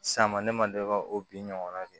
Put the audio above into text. San ma ne ma deli ka o bin ɲɔgɔnna kɛ